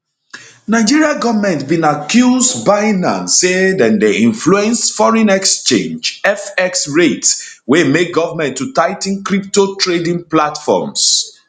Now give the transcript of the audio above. nigeria goment bin accuse bunance say dem dey influence foreign exchange fx rates wey make goment to tigh ten crypto trading platforms